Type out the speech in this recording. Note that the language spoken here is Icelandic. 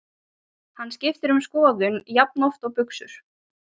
Hann skiptir um skoðun jafnoft og buxur.